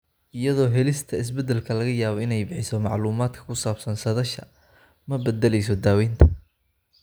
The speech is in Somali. Iyadoo helista isbeddelka laga yaabo inay bixiso macluumaadka ku saabsan saadaasha, ma beddeleyso daaweynta.